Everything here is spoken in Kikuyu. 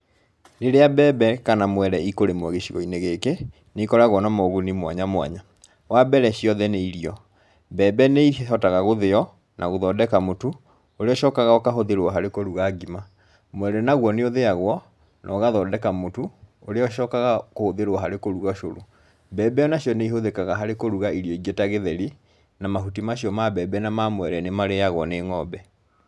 Rĩrĩa mbembe kana mwere ikũrĩmwo gĩcigo-inĩ gĩkĩ nĩikoragwo na moguni mwanya mwanya. Wambere ciothe nĩ irio, mbembe nĩihotaga gũthĩywo na gũthondeka mũtu ũrĩa ũcokaga ũkahũthĩrwo harĩ kũruga ngima, mwere naguo nĩ ũthĩagwo na ũgathondeka mũtũ ũrĩa ũcokaga kũhũthĩrwo harĩ kũruga cũrũ. Mbembe onacio nĩihũthĩkaga harĩ kũruga irio ingĩ ta gĩtheri, na mahuti macio ma mbembe na ma mwere nĩmarĩagwo nĩ ng'ombe.